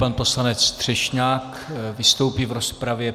Pan poslanec Třešňák vystoupí v rozpravě.